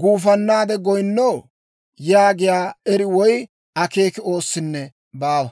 guufannaade goyinnoo?» yaagiyaa eri woy akeeki oossinne baawa.